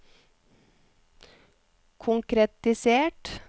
konkretisert